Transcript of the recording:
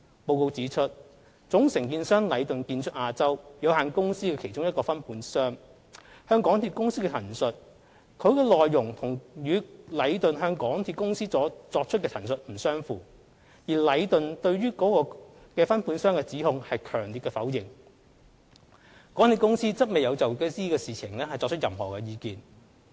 報告指出，總承建商禮頓的其中一個分判商向港鐵公司的陳述，其內容與禮頓向港鐵公司作出的陳述不相符，而禮頓對於該分判商的指控強烈否認，港鐵公司則未有就此事情提出任何意見。